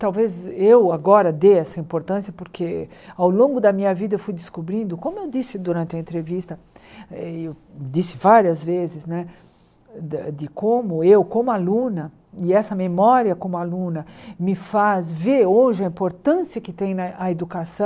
Talvez eu agora dê essa importância, porque ao longo da minha vida eu fui descobrindo, como eu disse durante a entrevista, e eu disse várias vezes, de como eu, como aluna, e essa memória como aluna, me faz ver hoje a importância que tem na a educação.